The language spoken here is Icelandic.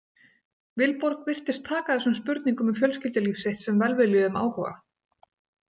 Vilborg virtist taka þessum spurningum um fjölskyldulíf sitt sem velviljuðum áhuga.